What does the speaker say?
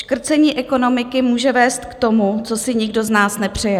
Škrcení ekonomiky může vést k tomu, co si nikdo z nás nepřeje.